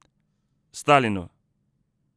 Stalinu!